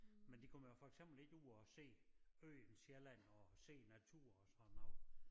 Men de kommer jo for eksempel ikke ud og ser øen Sjælland og ser æ natur og sådan noget